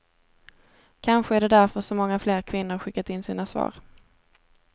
Kanske är det därför så många fler kvinnor skickat in sina svar.